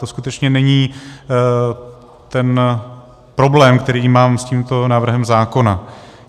To skutečně není ten problém, který mám s tímto návrhem zákona.